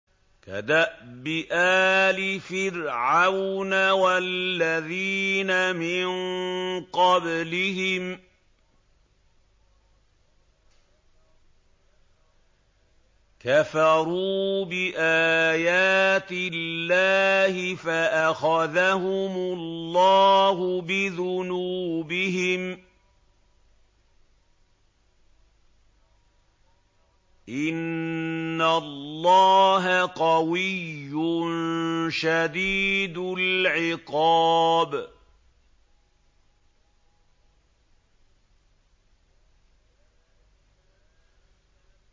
كَدَأْبِ آلِ فِرْعَوْنَ ۙ وَالَّذِينَ مِن قَبْلِهِمْ ۚ كَفَرُوا بِآيَاتِ اللَّهِ فَأَخَذَهُمُ اللَّهُ بِذُنُوبِهِمْ ۗ إِنَّ اللَّهَ قَوِيٌّ شَدِيدُ الْعِقَابِ